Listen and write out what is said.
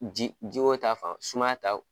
Ji ji ko ta fan sumaya ta